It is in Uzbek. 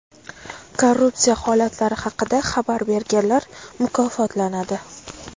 Korrupsiya holatlari haqida xabar berganlar mukofotlanadi.